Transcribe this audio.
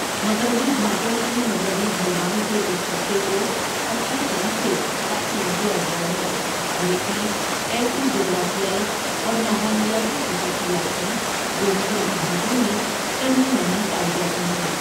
مغربی گھاٹوں کی مغربی ڈھلوان کے اس حصے کو اچھی طرح سے تقسیم کیا گیا ہے اور اس میں ایسی جغرافیائی اور ماحولیاتی خصوصیات ہیں جو مغربی گھاٹوں میں کہیں نہیں پائی جاتی ہیں۔